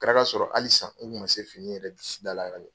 A kɛra k'a sɔrɔ hali sisan, ne tun ma se fani yɛrɛ disi da la.